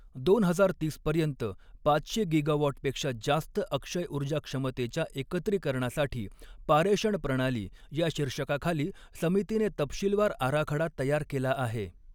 दोन हजार तीस पर्यंत पाचशे गिगाव़ॉट पेक्षा जास्त अक्षय ऊर्जा क्षमतेच्या एकत्रिकरणासाठी पारेषण प्रणाली या शीर्षकाखाली समितीने तपशीलवार आराखडा तयार केला आहे.